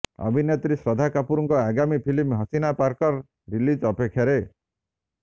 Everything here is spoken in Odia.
ଅଭିନେତ୍ରୀ ଶ୍ରଦ୍ଧା କପୁରଙ୍କର ଆଗାମୀ ଫିଲ୍ମ ହସିନା ପାରକର ରିଲିଜ ଅପେକ୍ଷାରେ